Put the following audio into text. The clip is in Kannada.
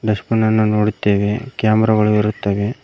ಡಸ್ಟ್ ಬಿನ್ ಅನ್ನು ನೋಡುತ್ತೇವೆ ಕ್ಯಾಮರಾ ಗಳು ಇರುತ್ತವೆ.